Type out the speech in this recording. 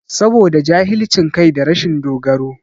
Saboda jahilcin kai da rashin dogaro